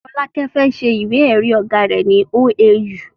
Folake fẹ́ se ìwé èrí ọ̀gá rẹ ní OAU